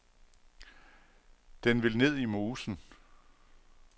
Den vil ned i mosen.